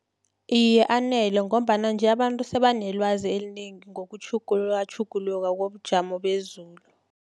Iye, anele, ngombana nje, abantu sebanelwazi elinengi ngokutjhugulukatjhuguluka kobujamo bezulu.